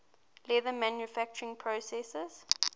leather manufacturing process